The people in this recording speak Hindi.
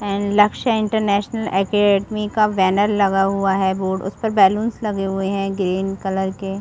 एंड लक्ष्य इंटरनेशनल अकादमी का बैनर लगा हुआ है बोर्ड उस पर बैलून्स लगे हुए है ग्रीन कलर के --